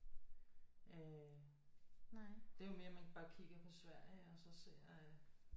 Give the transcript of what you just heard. Øh det er jo mere man bare kigger på Sverige og så ser at